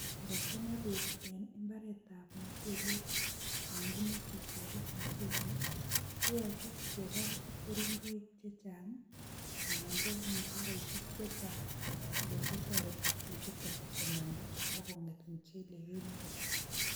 Ngo chang'a beek en mbaretab muchelek yon kimoche keges muchelek ii, koyoche kebal keringoik che chang anan ko mutaroisiek che chang, che kor kotoreti bechuto komanda ak kong'et muchelek en yoto